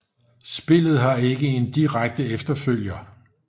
Spillet har ikke en direkte efterfølger